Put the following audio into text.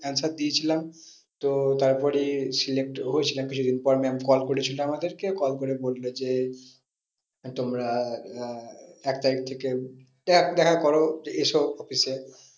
Answer দিয়েছিলাম। তো তারপরে select হয়েছিলাম কিছুদিন পর ma'am call করেছিল আমাদেরকে call করে বললো যে, তোমরা আহ এক তারিখ থেকে দেখা করো এসো office এ